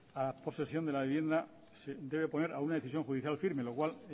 a la posesión de la vivienda se debe oponer a una decisión judicial firme lo cual